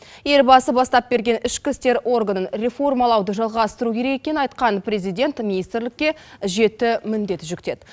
елбасы бастап берген ішкі істер органын реформалауды жалғастыру керек екенін айтқан президент министрлікке жеті міндет жүктеді